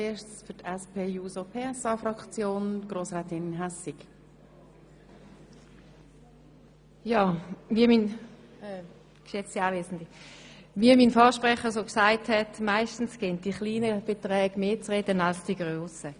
Wie mein Vorsprecher bereits sagte: Meistens geben die kleinen Beträge mehr zu reden als die grossen.